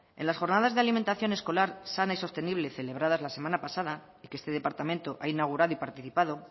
en las jornadas de alimentación escolar sana y sostenible celebrada la semana pasada y que este departamento ha inaugurado y participado